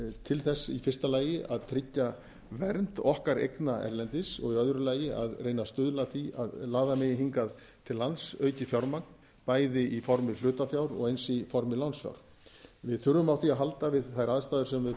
til þess í fyrsta lagi að tryggja vernd okkar eigna erlendis og í öðru lagi að reyna að stuðla að því að laða megi hingað til lands aukið fjármagn bæði í formi hlutafjár og eins í formi lánsfjár við þurfum á því að halda við þær aðstæður sem við